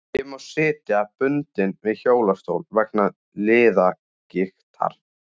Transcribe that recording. Ég má sitja bundinn við hjólastól vegna liðagiktar.